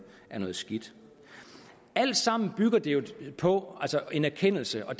er noget skidt alt sammen bygger det jo på en erkendelse og